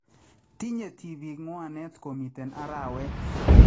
Tinye tibiik ngwaneet komiite araaweet